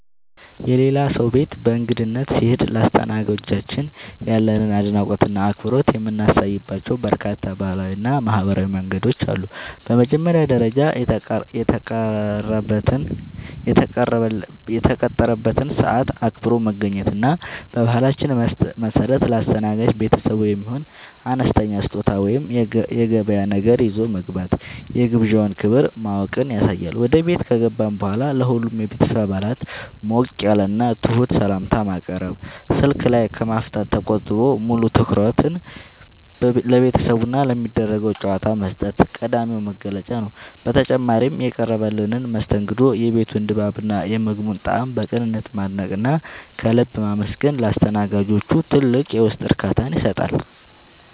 የሌላ ሰው ቤት በእንግድነት ስንሄድ ለአስተናጋጆቻችን ያለንን አድናቆትና አክብሮት የምናሳይባቸው በርካታ ባህላዊና ማኅበራዊ መንገዶች አሉ። በመጀመሪያ ደረጃ፣ የተቀጠረበትን ሰዓት አክብሮ መገኘት እና በባህላችን መሠረት ለአስተናጋጅ ቤተሰቡ የሚሆን አነስተኛ ስጦታ ወይም የገበያ ነገር ይዞ መግባት የግብዣውን ክብር ማወቅን ያሳያል። ወደ ቤት ከገባን በኋላም ለሁሉም የቤተሰብ አባላት ሞቅ ያለና ትሑት ሰላምታ ማቅረብ፣ ስልክ ላይ ከማፍጠጥ ተቆጥቦ ሙሉ ትኩረትን ለቤተሰቡና ለሚደረገው ጨዋታ መስጠት ቀዳሚው መገለጫ ነው። በተጨማሪም፣ የቀረበልንን መስተንግዶ፣ የቤቱን ድባብና የምግቡን ጣዕም በቅንነት ማድነቅና ከልብ ማመስገን ለአስተናጋጆቹ ትልቅ የውስጥ እርካታን ይሰጣል።